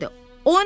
O nədir?